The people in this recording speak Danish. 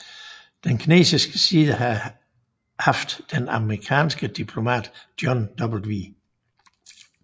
Den kinesiske side havde haft den amerikanske diplomat John W